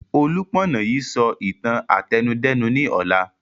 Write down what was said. Olúpọ̀nà yìí sọ ìtàn àtẹnudẹ́nu ni ọ̀la